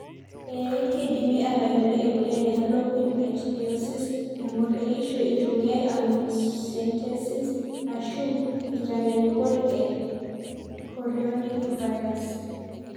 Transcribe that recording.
Ee, keidimi atayiolo emoyian e harlequin ichthyosis engor eishoi eitumiyae amniocentesis ashu nkitanyanyukot e chorionic villus.